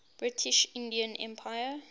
british indian empire